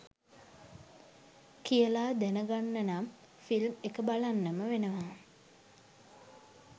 කියලා දැනගන්නනම් ෆිල්ම් එක බලන්නම වෙනවා.